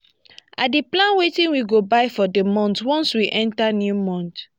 i dey plan wetin we go buy for di month once we enta new month.